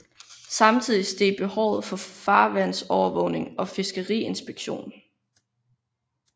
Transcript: Samtidigt steg behovet for farvandsovervågning og fiskeriinspektion